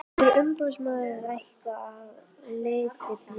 Hefur umboðsmaður að einhverju leyti brugðist?